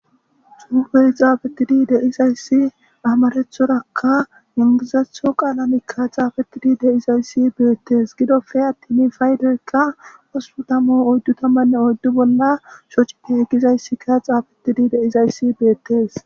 Haysi xufe xafetidi de'izayisi amarathoraka engilizathoraka xafetidi de'izaysi betes gidoppe atin paydonka 8044 bolla shoce gizaysika xafetidi uttidaysi betes